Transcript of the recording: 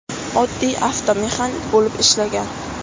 Oddiy avtomexanik bo‘lib ishlagan.